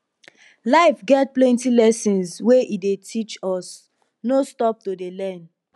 life get plenty lessons wey e dey teach us no stop to dey learn